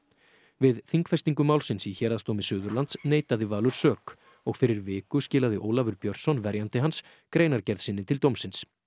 við þingfestingu málsins í Héraðsdómi Suðurlands neitaði Valur sök og fyrir viku skilaði Ólafur Björnsson verjandi hans greinargerð sinni til dómsins